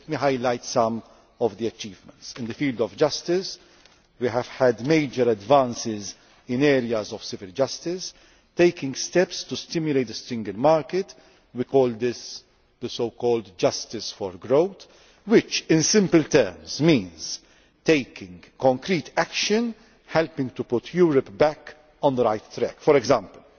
Let me highlight some of the achievements. In the field of justice we have had major advances in the area of civil justice, taking steps to stimulate the single market. We call this the so called justice for growth', which in simple terms means taking concrete action which helps to put Europe back on the right track. For